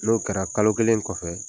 N'o kɛra kalo kelen kɔfɛ